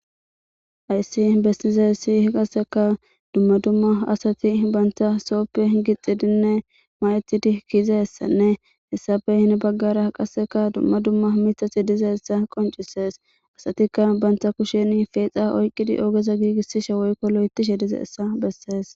ayssi bessize sihi qasseka dumma dumma asati banta sooppe gixxidinne mayetidi kiiza essanne hessabe hine baggara qasseka dumma dumma mitati diza essa qoncisees asatikka banta kushen feexa oyqqidi ogeza giigissishe woykko lo7etishe dize essa bessees